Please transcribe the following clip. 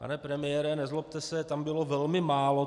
Pane premiére, nezlobte se, tam bylo velmi málo.